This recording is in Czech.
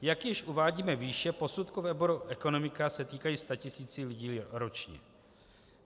Jak již uvádíme výše, posudky v oboru ekonomika se týkají statisíců lidí ročně.